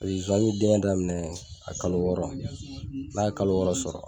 bɛ denkɛ daminɛ a kalo wɔɔrɔ n ye kalo wɔɔrɔ sɔrɔ